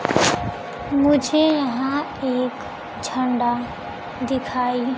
मुझे यहां एक झंडा दिखाई--